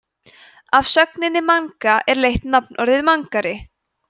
af sögninni manga er leitt nafnorðið mangari